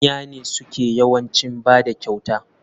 Manya ne suke yawancin bada kyauta.